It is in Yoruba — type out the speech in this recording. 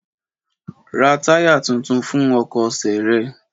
Ra táyà tuntun fún ọkọ̀ ṣe rẹ!